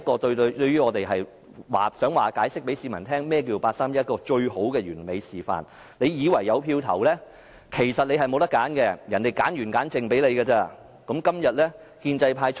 對於我們來說，這就是向市民解釋何謂八三一框架的完美示範，你以為可以投票，但其實你沒有選擇，是人家篩選後才讓你選擇的。